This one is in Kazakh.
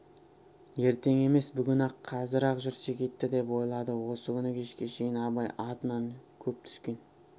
ертең емес бүгін-ақ қазір-ақ жүрсек етті деп ойлады осы күні кешке шейін абай атынан көп түскен